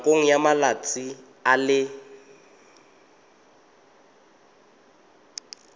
nakong ya malatsi a le